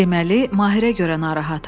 Deməli, Mahirə görə narahatam.